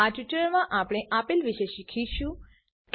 આ ટ્યુટોરીયલમાં આપણે આપેલ વિશે શીખીશું ક્લાસીસ